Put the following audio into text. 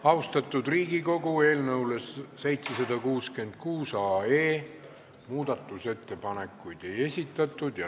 Austatud Riigikogu, eelnõu 766 kohta muudatusettepanekuid ei esitatud.